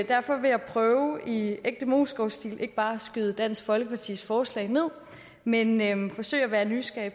derfor vil jeg prøve i ægte moesgaardstil ikke bare at skyde dansk folkepartis forslag ned men men forsøge at være nysgerrig